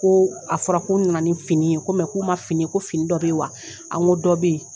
Ko a fɔra ko n nana ni fini ye ko mɛ k'u ma fini ye ko fini dɔ be yen wa a n ko dɔ be ye